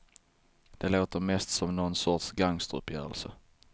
Det låter mest som nån sorts gangsteruppgörelse.